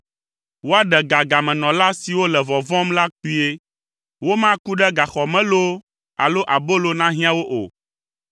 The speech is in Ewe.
Woaɖe ga gamenɔla siwo le vɔvɔ̃m la kpuie. Womaku ɖe gaxɔ me loo alo abolo nahiã wo o,